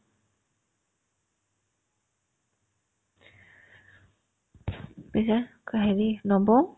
পিছে অক হেৰি নৱ